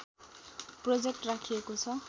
project राखिएको छ